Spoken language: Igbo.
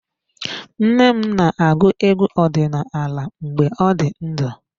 Nne m na-agụ egwu ọdinala mgbe ọ dị ndụ.